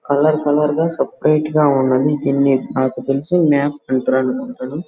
Colour colour గా separate గా ఉన్నది. దీన్ని నాకు తెలుసు మ్యాప్ అంటరు.